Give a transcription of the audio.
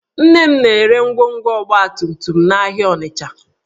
Nna m na-ere ngwongwo ọgbatumtum n'ahịa Ọnịcha